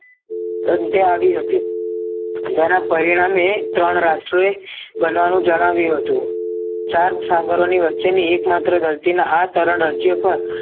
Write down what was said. સન્ધ્યા આવી હતી જેના પરિણામે ત્રણ રાષ્ટ્રોએ બનવાનું જણાવ્યું હતું ચાર મુસાફરોની વચ્ચેની એકમાત્ર ધરતીના આ ત્રણ રાજ્ય પર